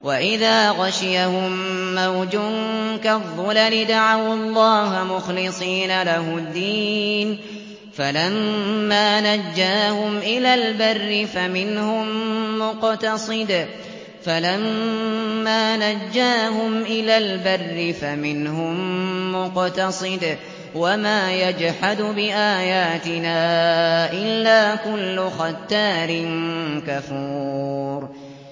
وَإِذَا غَشِيَهُم مَّوْجٌ كَالظُّلَلِ دَعَوُا اللَّهَ مُخْلِصِينَ لَهُ الدِّينَ فَلَمَّا نَجَّاهُمْ إِلَى الْبَرِّ فَمِنْهُم مُّقْتَصِدٌ ۚ وَمَا يَجْحَدُ بِآيَاتِنَا إِلَّا كُلُّ خَتَّارٍ كَفُورٍ